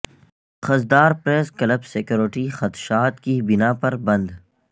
Khuzdar press club security خدشات کی بنا پر بند